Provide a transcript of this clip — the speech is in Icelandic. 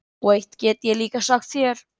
Og eitt get ég líka sagt þér,